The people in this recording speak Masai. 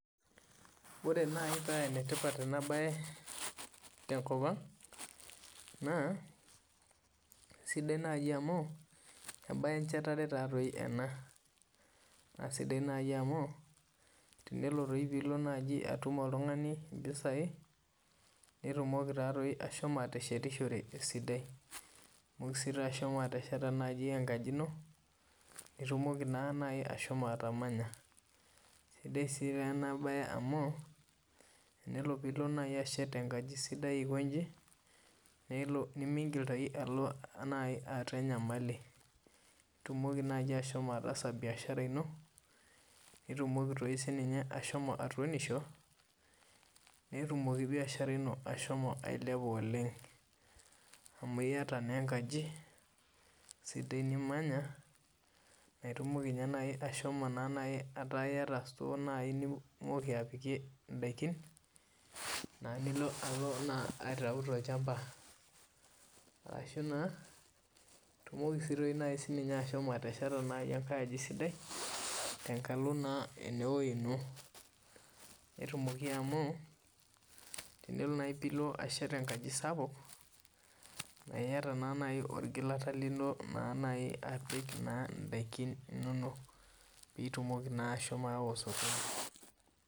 Ore naaji paa enetipat ena mbae tenkop ang naa sidai amu mbae enjetare ena naa sidai amu tenilo naaji oltung'ani atum mpisai naitumoki taadoi ashomo ateshetishore esidai amu edim ashomo atesheta enkajit eno naitumoki ashomo atamanya naa sidai ena mbae amu tenilo naaji ashet enkajit sidai aikoji nimintoki naaji ataa enyamali etumoki ashomo ataasa biashara eno naitumoki doi sininye ashomo atunisho netumoki biashar eno asho ailepa oleng amu eyata naa enkajit sidai nimanya neeku etumoki ashomo aaku eyata store nitumoki apikie endakin naa nilo aitau tolchamba ashu naa etumoki naaji ashomo atesheta enkae aji sidai tenkalo naa enewueji eno netumoki amu tenilo naaji ashet enkajit sapuk eyata naaji orgilata lino naaji apik ndaakin enono pee etumoki naa ahomo awa osokoni